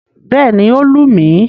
Bẹ́ẹ̀ni, ó lù mí.